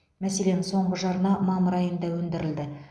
мәселен соңғы жарна мамыр айында өндірілді